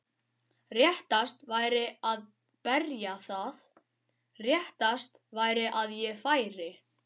Réttast væri að berja það, réttast væri að ég færi.